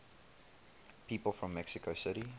people from mexico city